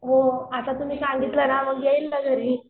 हो आता तुम्ही सांगितल ना मग येईल ना घरी